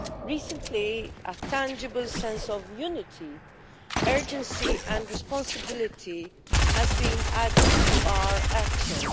Recently, a tangible sense of unity, urgency and responsibility has been added to our actions.